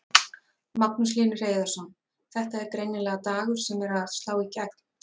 Magnús Hlynur Hreiðarsson: Þetta er greinilega dagur sem er að slá í gegn?